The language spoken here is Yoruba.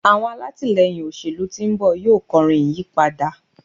àwọn alatilẹyin òṣèlú tí nbọ yíò kọrin ìyípadà